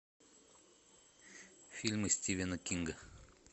фильмы стивена кинга